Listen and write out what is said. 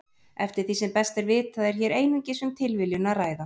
Eftir því sem best er vitað er hér einungis um tilviljun að ræða.